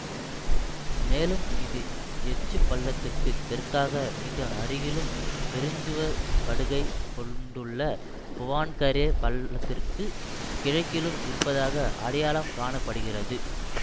மேலும் இது எச்சு பள்ளத்திற்கு தெற்காக மிக அருகிலும் பெருஞ்சுவர் படுகை கொண்டுள்ள புவான்கரே பள்ளத்திற்கு கிழக்கிலும் இருப்பதாக அடையாளம் காண படுகிறது